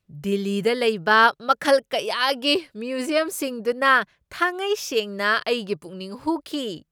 ꯗꯤꯜꯂꯤꯗ ꯂꯩꯕ ꯃꯈꯜ ꯀꯌꯥꯒꯤ ꯃ꯭ꯌꯨꯖꯤꯌꯝꯁꯤꯡꯗꯨꯅ ꯊꯥꯉꯩꯁꯦꯡꯅ ꯑꯩꯒꯤ ꯄꯨꯛꯅꯤꯡ ꯍꯨꯈꯤ꯫